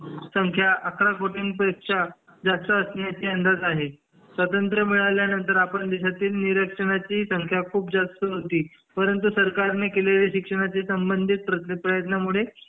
संख्या अकरा कोटीं पेक्षा जास्त असण्याचे अंदाज आहे स्वतंत्र मिळाल्यानंतर ही देशात निरक्षरांची संख्या जास्त होती परंतु सरकार ने केलेले शिक्षणाचे संबंधित प्रयत्नांमुळे